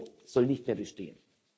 EUR soll nicht mehr bestehen.